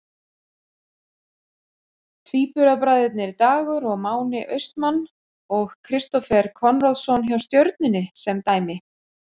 Tvíburabræðurnir Dagur og Máni Austmann og Kristófer Konráðsson hjá Stjörnunni sem dæmi.